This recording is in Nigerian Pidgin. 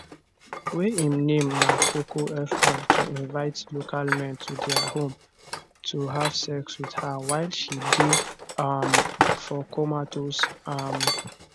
wey im name name na cocofr to invite local men to dia home to have sex wit her while she dey um for comatose um